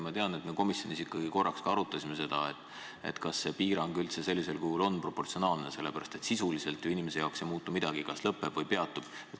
Ma tean, et me komisjonis ikkagi korraks ka arutasime, kas see piirang üldse sellisel kujul on proportsionaalne, sest sisuliselt ju inimese jaoks ei muutu midagi, kui kas lõpeb või peatub.